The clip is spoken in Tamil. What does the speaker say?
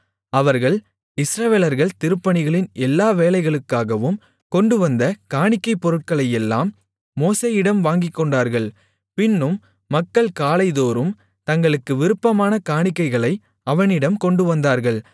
அவர்கள் இஸ்ரவேலர்கள் திருப்பணிகளின் எல்லா வேலைகளுக்காகவும் கொண்டுவந்த காணிக்கைப் பொருட்களையெல்லாம் மோசேயிடம் வாங்கிக்கொண்டார்கள் பின்னும் மக்கள் காலைதோறும் தங்களுக்கு விருப்பமான காணிக்கைகளை அவனிடம் கொண்டுவந்தார்கள்